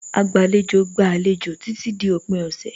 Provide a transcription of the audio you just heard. Agbàlejò gba àlejò títí di òpin ọ̀sẹ̀.